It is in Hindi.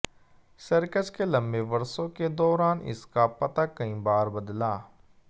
सर्कस के लंबे वर्षों के दौरान इसका पता कई बार बदला